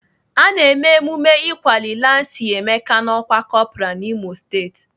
Ana eme emume ịkwali lansi Emeka n'ọkwá kọpral n'Imo steeti.